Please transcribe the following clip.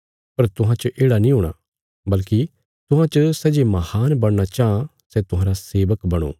पर तुहां च येढ़ा नीं हूणा बल्कि तुहां च सै जे महान बणना चाँह सै तुहांरा सेवक बणो